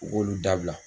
U b'olu dabila